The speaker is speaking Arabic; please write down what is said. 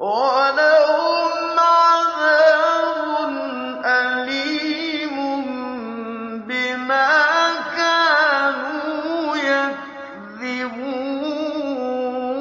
وَلَهُمْ عَذَابٌ أَلِيمٌ بِمَا كَانُوا يَكْذِبُونَ